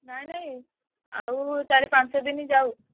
ନାଇଁ ନାଇଁ ଆଉ ଚାରି ପଞ୍ଚ ଦିନ ଯାଉ।